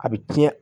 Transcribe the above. A bi tiɲɛ